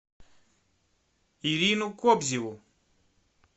ирину кобзеву